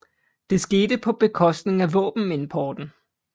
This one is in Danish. Det skete på bekostning af våbenimporten